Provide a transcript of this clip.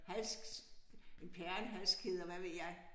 Hals perlehalskæder hvad ved jeg